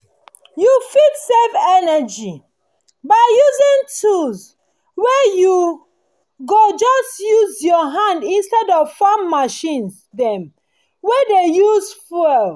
you fit save energy by using tools wey you go just use your hand instead of farm machines dem wey dey use fuel